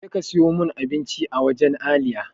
Je ka siyo mun abinci a wancan layi!